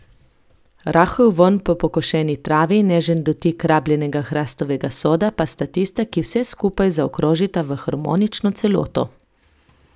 Rahel vonj po pokošeni travi in nežen dotik rabljenega hrastovega soda pa sta tista, ki vse skupaj zaokrožita v harmonično celoto.